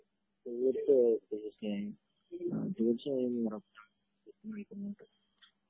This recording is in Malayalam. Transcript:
ഓ കെ ഓ കെ തീർച്ചയായും ഉറപ്പ്